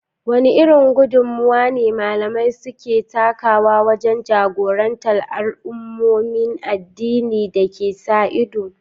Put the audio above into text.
Wane irin gudummuwa ne malamai suke takawa wajen jagorantar al’ummomin addini da suke sa ido?